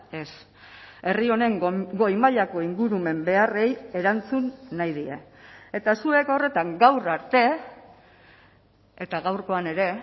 ez herri honen goi mailako ingurumen beharrei erantzun nahi die eta zuek horretan gaur arte eta gaurkoan ere